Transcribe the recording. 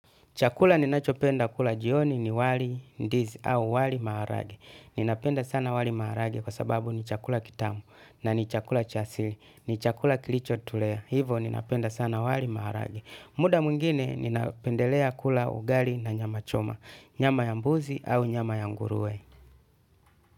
Chakula ninachopenda kula jioni ni wali ndizi au wali maharage. Ninapenda sana wali maharage kwa sababu ni chakula kitamu na ni chakula cha asili. Ni chakula kilichotulea. Hivo ninapenda sana wali maharagi. Muda mwingine ninapendelea kula ugali na nyama choma. Nyama ya mbuzi au nyama ya nguruwe.